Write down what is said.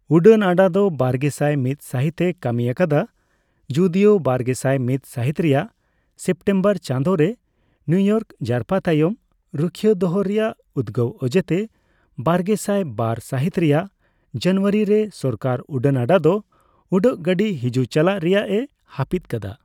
ᱩᱰᱟᱹᱱ ᱟᱰᱟ ᱫᱚ ᱵᱟᱨᱜᱮᱥᱟᱭ ᱢᱤᱫ ᱥᱟᱹᱦᱤᱛ ᱮ ᱠᱟᱹᱢᱤ ᱟᱠᱟᱫᱟ, ᱡᱩᱫᱤᱭᱳ ᱵᱟᱨᱜᱮᱥᱟᱭ ᱢᱤᱫ ᱥᱟᱹᱦᱤᱛ ᱨᱮᱭᱟᱜ ᱥᱮᱯᱴᱮᱢᱵᱚᱨ ᱪᱟᱸᱫᱳᱨᱮ ᱱᱤᱭᱩᱼᱤᱭᱚᱨᱠ ᱡᱟᱨᱯᱟ ᱛᱟᱭᱚᱢ ᱨᱩᱠᱷᱤᱭᱟᱹ ᱫᱚᱦᱚ ᱨᱮᱭᱟᱜ ᱩᱫᱜᱟᱹᱣ ᱚᱡᱮᱛᱮ ᱵᱟᱨᱜᱮᱥᱟᱭ ᱵᱟᱨ ᱥᱟᱹᱦᱤᱛ ᱨᱮᱭᱟᱜ ᱡᱟᱱᱩᱣᱟᱨᱤ ᱨᱮ ᱥᱚᱨᱠᱟᱨ ᱩᱰᱟᱹᱱᱟᱰᱟ ᱫᱚ ᱩᱰᱟᱹᱜ ᱜᱟᱹᱰᱤ ᱦᱤᱡᱩᱜᱼᱪᱟᱞᱟᱜ ᱨᱮᱭᱟᱜᱼᱮ ᱦᱟᱹᱯᱤᱫ ᱠᱟᱫᱟ ᱾